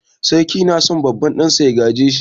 Sarki na so babban ɗansa ya gaje shi.